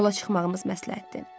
Yola çıxmağımız məsləhətdir.